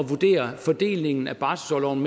vurdere fordelingen af barselsorloven